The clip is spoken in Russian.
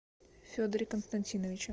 федоре константиновиче